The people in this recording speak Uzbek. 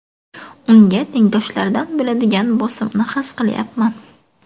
Unga tengdoshlaridan bo‘ladigan bosimni his qilyapman.